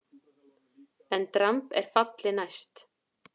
EN DRAMB ER FALLI NÆST!